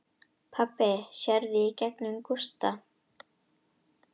Pabbi sér í gegnum Gústa.